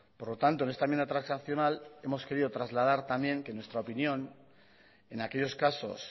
por lo tanto en esta enmienda transaccional hemos querido trasladar también que nuestra opinión en aquellos casos